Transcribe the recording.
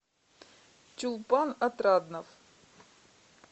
чулпан отраднов